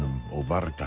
og